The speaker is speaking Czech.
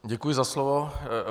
Děkuji za slovo.